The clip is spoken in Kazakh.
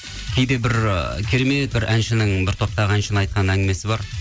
кейде бір ы керемет бір әншінің бір топтағы әншінің айтқан әңгімесі бар